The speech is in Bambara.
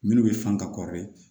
Minnu bɛ fan ka